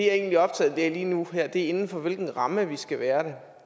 er optaget af lige nu og her er inden for hvilken ramme vi skal være det